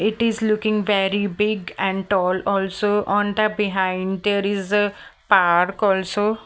It is looking very big and tall also on the behind there is a park also.